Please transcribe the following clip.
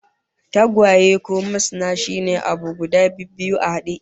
Tagwaye ko masna shine abu guda bibbiyu a hade